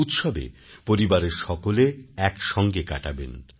উৎসবে পরিবারের সকলে একসঙ্গে কাটাবেন